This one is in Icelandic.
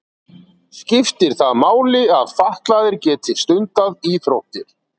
Skiptir það máli að fatlaðir geti stundað íþróttir?